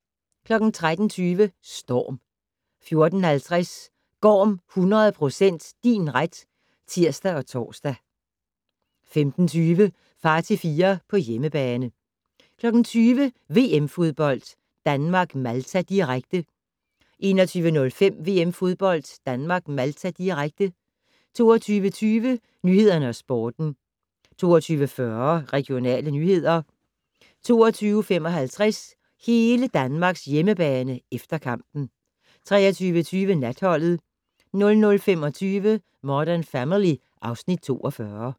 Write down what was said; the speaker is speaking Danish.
13:20: Storm 14:50: Gorm 100 % din ret (tir og tor) 15:20: Far til fire - på hjemmebane 20:00: VM-fodbold: Danmark-Malta, direkte 21:05: VM-fodbold: Danmark-Malta, direkte 22:20: Nyhederne og Sporten 22:40: Regionale nyheder 22:55: Hele Danmarks hjemmebane - efter kampen 23:20: Natholdet 00:25: Modern Family (Afs. 42)